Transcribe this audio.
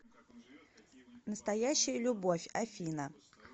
настоящая любовь афина